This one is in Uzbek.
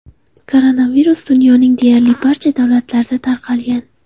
Koronavirus dunyoning deyarli barcha davlatlarida tarqalgan.